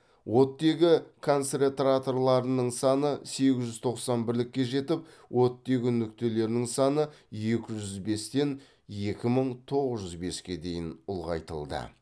оттегі концентраторларының саны сегіз жүз тоқсан бірлікке жетіп оттегі нүктелерінің саны екі жүз бестен екі мың тоғыз жуз беске дейін ұлғайтылды